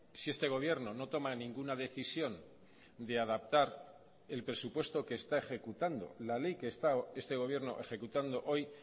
si este gobierno no toma ninguna decisión de adaptar el presupuesto que está ejecutando la ley que está este gobierno ejecutando hoy